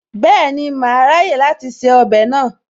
Bẹ́ẹ̀ni, màá ráyè láti se ọbẹ̀ náà